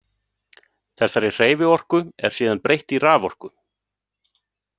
Þessari hreyfiorku er síðan breytt í raforku.